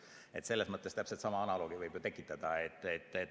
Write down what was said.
Selles mõttes võib ju täpselt sama analoogi tekitada.